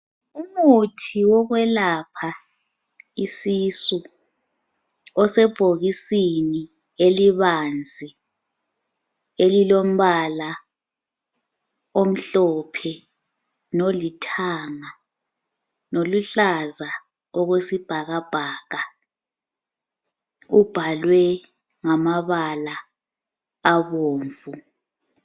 Umuthi wokwelapha isisu osebhokisini elibanzi elilombala omhlophe lolithanga loluhlaza okwesibhakabhaka ubhalwe ngamabala abomvu